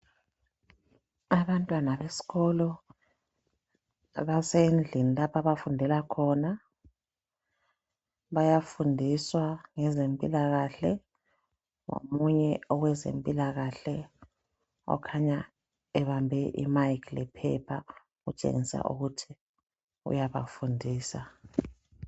Abantwana besikolo basendlini lapho abafundela khona bayafundiswa ngezempilakahle omunye kweze mpilakahle okhanya ebambe imic lephepha okutshengisa ukuthi uyaba fundisa